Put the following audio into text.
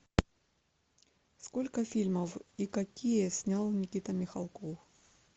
сколько фильмов и какие снял никита михалков